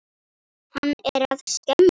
Hann er að skemma.